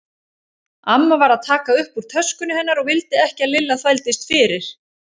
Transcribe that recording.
Amma var að taka upp úr töskunni hennar og vildi ekki að Lilla þvældist fyrir.